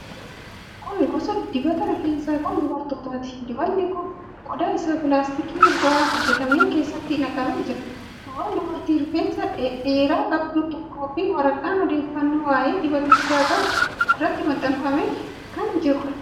Kun gosa dibata rifeensaa kan dubartootaati. Dibatni kun qodaa isaa pilaastikii irraa hojjetame keessatti naqamee jira. Suuraan dubartii rifeensa dhedheeraa qabdu tokkoo fi waraqaan odeeffannoo waa'ee dibatichaa qabu irratti maxxanfamee jira.